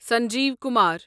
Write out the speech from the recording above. Sanjeev Kumar